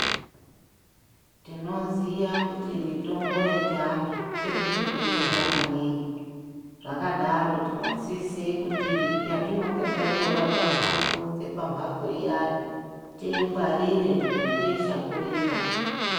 Tinoziya kuti mitombo yechiantu iri kuti detsera maningi. Zvakadaro tinosisa kuti yatinenge tatora kunze pamphatso iyani, tiingwarire nekuishakurira.